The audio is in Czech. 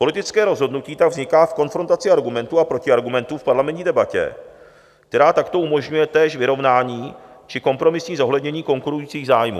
Politické rozhodnutí tak vzniká v konfrontaci argumentů a protiargumentů v parlamentní debatě, která takto umožňuje též vyrovnání či kompromisní zohlednění konkurujících zájmů.